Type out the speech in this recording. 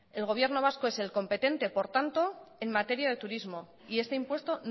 el gobierno vasco es el competente por tanto en materia de turismo y este impuesto